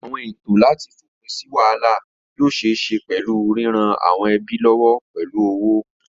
Àwọn ètò láti fòpin sí wàhálà yóò ṣeé ṣe pẹ̀lú ríran àwọn ẹbí lọ́wọ́ pẹ̀lú owó.